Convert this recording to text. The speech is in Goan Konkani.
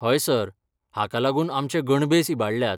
हय सर, हांका लागून आमचे गणभेस इबाडल्यात.